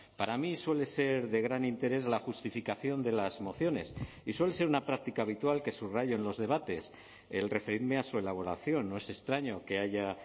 para mí suele ser de gran interés la justificación de las mociones y suele ser una práctica habitual que subrayo en los debates el referirme a su elaboración no es extraño que haya